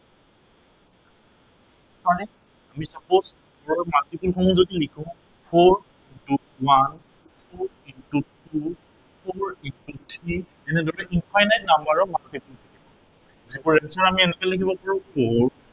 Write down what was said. মানে আমি suppose multiple সমূহ যদি লিখো, four into one, two into two, four into three এনেদৰে different number ক multiple আমি এনেকে লিখিব পাৰো four